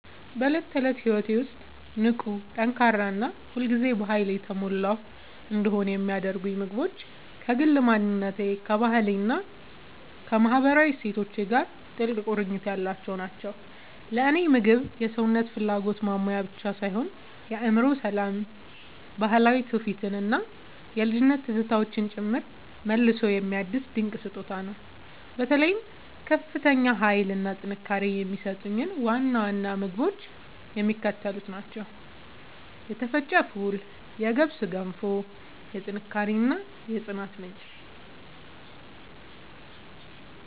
በዕለት ተዕለት ሕይወቴ ውስጥ ንቁ፣ ጠንካራ እና ሁል ጊዜ በኃይል የተሞላሁ እንድሆን የሚያደርጉኝ ምግቦች ከግል ማንነቴ፣ ከባህሌ እና ከማህበራዊ እሴቶቼ ጋር ጥልቅ ቁርኝት ያላቸው ናቸው። ለእኔ ምግብ የሰውነትን ፍላጎት ማሟያ ብቻ ሳይሆን የአእምሮ ሰላምን፣ ባህላዊ ትውፊትን እና የልጅነት ትዝታዎችን ጭምር መልሶ የሚያድስ ድንቅ ስጦታ ነው። በተለይ ከፍተኛ ኃይል እና ጥንካሬ የሚሰጡኝን ዋና ዋና ምግቦች የሚከተሉት ናቸው የተፈጨ ፉል የገብስ ገንፎ፦ የጥንካሬ እና የጽናት ምንጭ